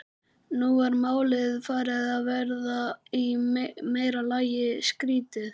Nú var málið farið að verða í meira lagi skrýtið.